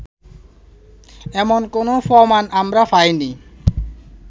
এমন কোনো প্রমাণ আমরা পাইনি